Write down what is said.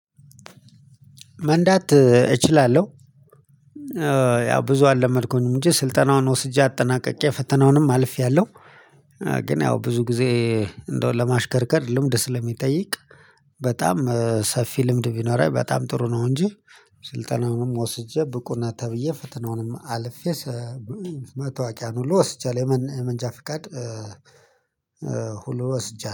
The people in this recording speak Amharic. መንዳት እችላለሁ። ያው ብዙ አለመድኩም እንጂ ስልጠናውን ወስጄ አጠናቅቄ ፈተናውንም አልፌያለሁ። ግን ያው ብዙ ጊዜ እንደው ለማሽከርከር ልምድ ስለሚጠይቅ በጣም ሰፊ ልምድ ቢኖረኝ በጣም ጥሩ ነው። እንጂ ስልጠናውንም ወስጄ ብቁነህ ተብዬ ፈተናውንም አልፌ መታወቂያን ሁሉ ወስጃለሁ የመንጃ ፍቃድ። ሁሉ ወስጃለሁ